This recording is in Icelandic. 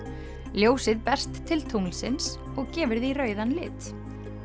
ljósið berst til tunglsins og gefur því rauðan lit